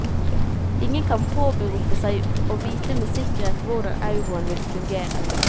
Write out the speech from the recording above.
Ingen kan påberope seg å vite med sikkerhet hvordan euroen vil fungere.